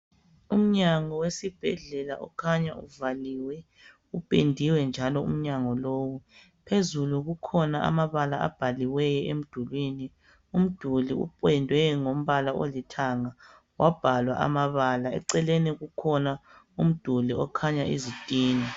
Umnyango wesibhedlela ukhanya uvaliwe, upendiwe njalo umnyango lo. Phezulu kukhona amabala abhaliweyo emdulini, umduli upendwe ngombala olithanga wabhalwa amabala. Eceleni kukhona umduli okhanya izitina.